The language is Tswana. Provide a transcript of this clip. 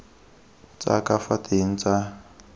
tsa ka fa teng tsa